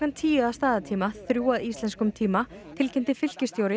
tíu að staðartíma þrjú að íslenskum tíma tilkynnti fylkisstjóri